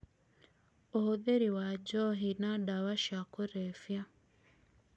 ũhũthĩri wa njohi na ndawa ca kũrebia